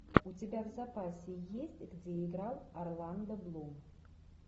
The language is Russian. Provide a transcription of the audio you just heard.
у тебя в запасе есть где играл орландо блум